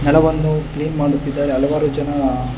ನೆಲವನ್ನು ಕ್ಲೀನ್ ಮಾಡುತ್ತಿದ್ದಾರೆ ಹಲವಾರು ಜನ --